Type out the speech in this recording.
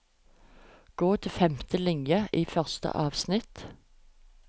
Gå til femte linje i første avsnitt